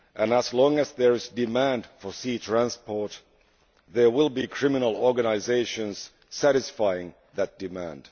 As long as there is demand for sea transport, there will be criminal organisations satisfying that demand.